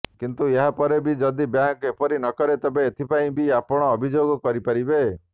କିନ୍ତୁ ଏହାପରେ ବି ଯଦି ବ୍ୟାଙ୍କ ଏପରି ନକରେ ତେବେ ଏଥିପାଇଁ ବି ଆପଣ ଅଭିଯୋଗ କରିପାରିବେ